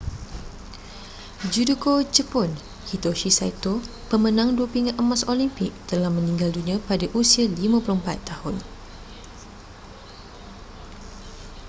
judoka jepun hitoshi saito pemenang dua pingat emas olimpik telah meninggal dunia pada usia 54 tahun